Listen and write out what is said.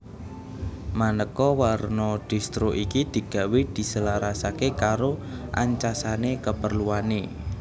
Maneka warna distro iki digawé diselarasake karo ancasane keperluane